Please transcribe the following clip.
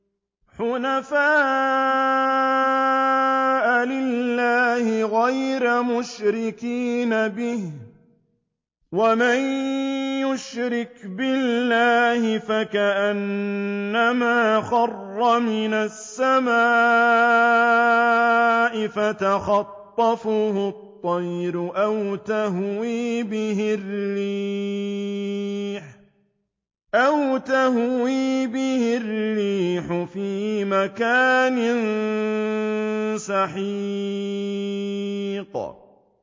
حُنَفَاءَ لِلَّهِ غَيْرَ مُشْرِكِينَ بِهِ ۚ وَمَن يُشْرِكْ بِاللَّهِ فَكَأَنَّمَا خَرَّ مِنَ السَّمَاءِ فَتَخْطَفُهُ الطَّيْرُ أَوْ تَهْوِي بِهِ الرِّيحُ فِي مَكَانٍ سَحِيقٍ